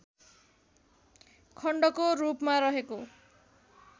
खण्डको रूपमा रहेको